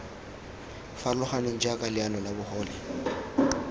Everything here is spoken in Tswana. farologaneng jaaka leano la bogole